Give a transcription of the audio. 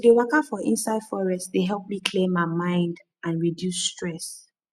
to dey waka for inside forest dey help me clear my mind and reduce stress